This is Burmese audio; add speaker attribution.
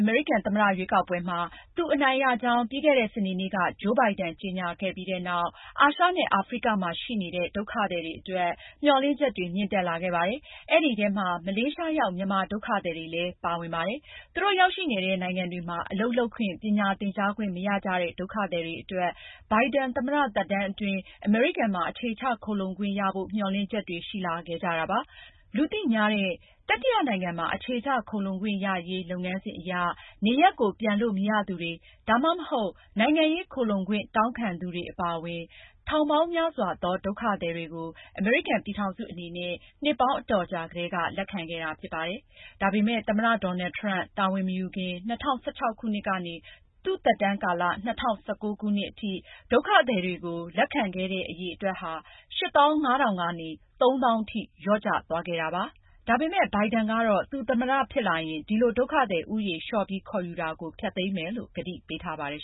Speaker 1: အမေရိကန်သမ္မတရွေးကောက်ပွဲမှာ သူ အနိုင်ရကြောင်း ပြီးခဲ့တဲ့ စနေနေ့က ဂျိုးဘိုင်ဒန် ကြေညာခဲ့ပြီးတဲ့နောက် အာရှနဲ့ အာဖရိကမှာရှိနေတဲ့ ဒုက္ခသည်တွေအတွက် မျှော်လင့်ချက်တွေ မြင့်တက်လာခဲ့ပါတယ်။ အဲဒီထဲမှာ မလေးရှားရောက် မြန်မာဒုက္ခသည်တွေလည်း ပါဝင်ပါတယ်။ သူတို့ ရောက်ရှိနေတဲ့ နိုင်ငံတွေမှာ အလုပ်လုပ်ခွင့်၊ ပညာသင်ကြားခွင့်မရကြတဲ့ ဒုက္ခသည်တွေအတွက် ဘိုင်ဒန် သမ္မတသက်တမ်းအတွင်း အမေရိကန်မှာ အခြေချခိုလှုံခွင့်ရဖို့ မျှော်လင့်ချက်တွေရှိလာခဲ့ကြပါတယ်။ လူသိများတဲ့ တတိယနိုင်ငံမှာ အခြေချခိုလှုံခွင့်ရရေး လုပ်ငန်းစဉ်အရနေရပ်ကို ပြန်လို့မရသူတွေ၊ ဒါမှမဟုတ် နိုင်ငံရေးခိုလှုံခွင့်တောင်းခံသူတွေအပါအဝင် ထောင်ပေါင်းများစွာသော ဒုက္ခသည်တွေကို အမေရိကန်ပြည်ထောင်စုအနေနဲ့ နှစ်ပေါင်း အတော်ကြာကတည်းက လက်ခံခဲ့တာဖြစ်ပါတယ်။ ဒါပေမဲ့ သမ္မတ Donald Trump တာဝန်မယူခင် ၂၀၁၆ ခုနှစ်ကနေ သူ့သက်တမ်းကာလ ၂၀၁၉ ခုနှစ်အတွင်း ဒုက္ခသည်တွေကို လက်ခံတဲ့အရေအတွက်ဟာ ၈၅၀၀၀ ကနေ ၃၀၀၀၀ ထိ လျော့ကျသွားခဲ့ပါတယ်။ ဒါပေမဲ့ ဘိုင်ဒန်ကတော့ သူသမ္မတဖြစ်လာရင် ဒီလို ဒုက္ခသည်ဦးရေ လျော့ပြီ
Speaker 2: းခေါ်ယူတာကို ဖျက်သိမ်းမယ်လို့ ကတိပေးထားပါတယ်